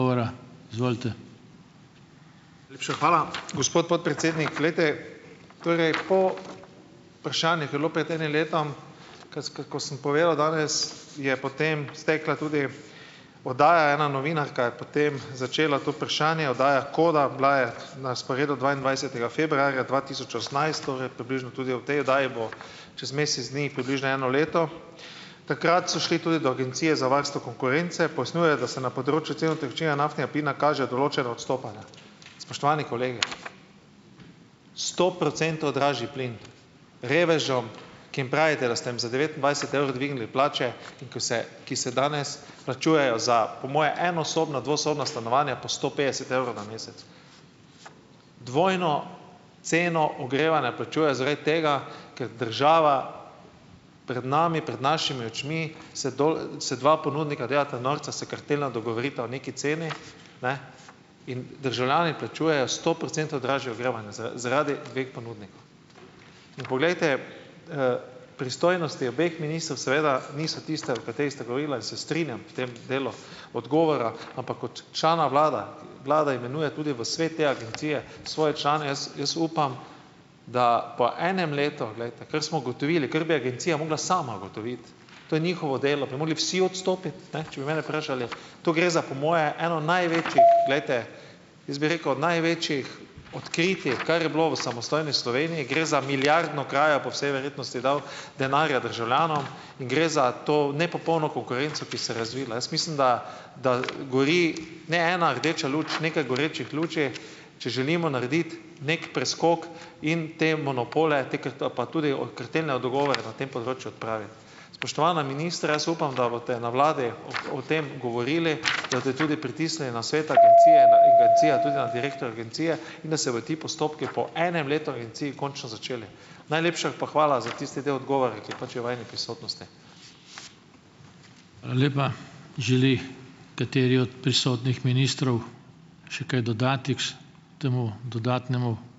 Najlepša hvala, gospod podpredsednik. Glejte, torej po vprašanje, ki je bilo pred enim letom, kc kot ko sem povedal danes, je potem stekla tudi oddaja. Ena novinarka je potem začela to vprašanje, oddaja Koda. Bila je na sporedu dvaindvajsetega februarja dva tisoč osemnajst, torej približno tudi ob tej oddaji bo čez mesec dni približno eno leto. Takrat so šli tudi do Agencije za varstvo konkurence. Pojasnjujejo, da se na področju cen utekočinjenega naftnega plina kaže določena odstopanja. Spoštovani kolegi! Sto procentov dražji plin. Revežem, ki jim pravite, da ste jim za devetindvajset evrov dvignili plače, in ki se ki se danes plačujejo za po moje enosobno, dvosobno stanovanja po sto petdeset evrov na mesec. Dvojno ceno ogrevanja plačujejo zaradi tega, ker država pred nami, pred našimi očmi se se dva ponudnika delata norca, se kartelno dogovorita o neki ceni, ne, in državljani plačujejo sto procentov dražje ogrevanje zaradi dveh ponudnikov. In poglejte, pristojnosti obeh ministrov seveda niso tiste, o katerih sta govorila, in se strinjam v tem delu odgovora, ampak kot člana vlade vlada imenuje tudi v svet te agencije svoje člane, jaz jaz upam, da po enem letu, glejte, ker smo ugotovili, ker bi agencija mogla sama ugotoviti, to je njihovo delo, bi mogli vsi odstopiti, ne, če bi mene vprašali, to gre za po moje eno največjih, glejte , jaz bi rekel, največjih odkritij, kar je bilo v samostojni Sloveniji, gre za milijardno krajo, po vsej verjetnosti dal denarja državljanom in gre za to nepopolno konkurenco, ki se je razvila. Jaz mislim, da da gori ne ena rdeča luč, nekaj gorečih luči, če želimo narediti neki preskok in te monopole te pa tudi o kartelne dogovore na tem področju odpraviti. Spoštovana ministra! Jaz upam, da boste na vladi o o tem govorili, da boste tudi pritisnili na svet agencije in agencijo, tudi na direktorja agencije, in da se bojo ti postopki po enem letu v agenciji končno začeli. Najlepša pa hvala za tisti del odgovora, ki je pač v vajini prisotnosti.